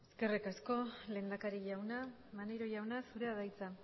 eskerrik asko lehendakari jauna maneiro jauna zurea da hitza